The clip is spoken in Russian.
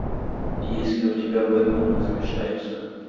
есть ли у тебя бэтмен возвращается